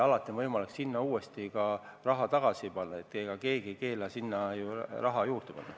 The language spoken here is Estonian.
Ja sinna on alati võimalik raha ka tagasi panna, keegi ei keela sinna raha juurde panna.